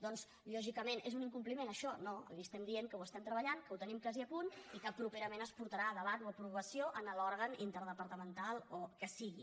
doncs lògicament és un incompliment això no li estem dient que ho estem treballant que ho tenim quasi a punt i que properament es portarà a debat o a aprovació en l’òrgan interdepartamental o el que sigui